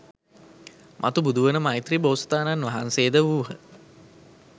මතු බුදුවන මෛත්‍රි බෝසතාණන් වහන්සේද වූහ.